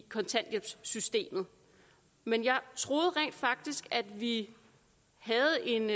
kontanthjælpssystemet men jeg troede rent faktisk at vi havde en